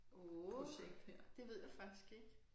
Åh det ved jeg faktisk ikke